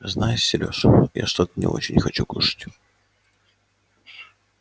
знаешь серёж я что-то не очень хочу кушать